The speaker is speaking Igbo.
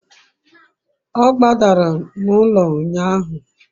o gbadara n'ulo unyahu